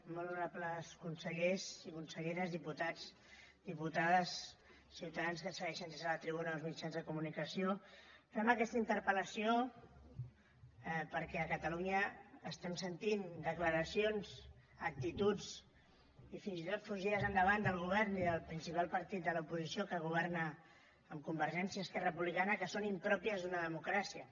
molt honorables consellers i conselleres diputats diputades ciutadans que ens segueixen des de la tribuna o els mitjans de comunicació fem aquesta interpelestem sentint declaracions actituds i fins i tot fugides endavant del govern i del principal partit de l’oposició que governa amb convergència esquerra republicana que són impròpies d’una democràcia